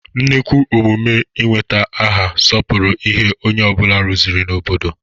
Nnukwu emume ị nweta aha sọpụrụ ihe onye ọ bụla rụzuru n'obodo.